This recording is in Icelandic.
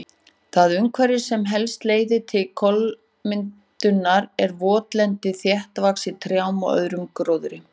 Það umhverfi sem helst leiðir til kolamyndunar er votlendi þéttvaxið trjám og öðrum gróðri.